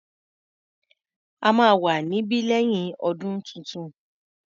A máa wà níbí lẹ́yìn ọdún tuntun.